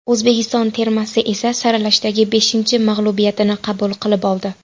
O‘zbekiston termasi esa saralashdagi beshinchi mag‘lubiyatini qabul qilib oldi.